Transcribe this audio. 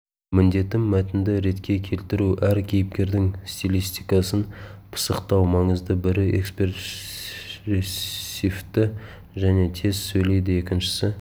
міндетім мәтінді ретке келтіру әр кейіпкердің стилистикасын пысықтау маңызды бірі экспрессивті және тез сөйлейді екіншісі